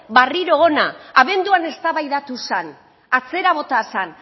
barriro hona abenduan eztabaidatu zan atzera bota zan